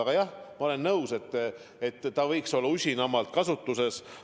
Aga jah, ma olen nõus, et see võiks olla usinamalt kasutuses.